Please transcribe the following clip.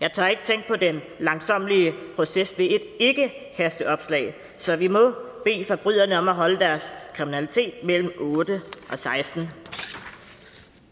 jeg tør ikke tænke på den langsommelige proces ved et ikkehasteopslag så vi må bede forbryderne om at holde deres kriminalitet mellem otte og sekstende